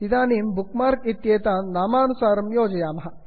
इदानीं bookmark इत्येतान् नामानुसारं योजयामः